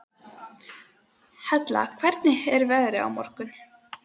Hella, hvernig er veðrið á morgun?